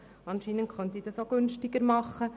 Anscheinend könnte ich es auch günstiger haben.